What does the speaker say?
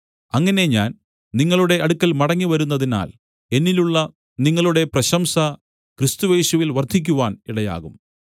അങ്ങനെ ഞാൻ നിങ്ങളുടെ അടുക്കൽ മടങ്ങിവരുന്നതിനാൽ എന്നിലുള്ള നിങ്ങളുടെ പ്രശംസ ക്രിസ്തുയേശുവിൽ വർദ്ധിക്കുവാൻ ഇടയാകും